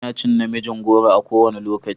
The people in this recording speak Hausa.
Ina cin na miin goro a kowane lokaci.